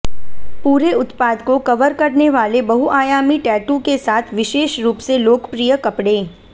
पूरे उत्पाद को कवर करने वाले बहुआयामी टैटू के साथ विशेष रूप से लोकप्रिय कपड़े